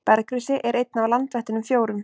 Bergrisi er einn af landvættunum fjórum.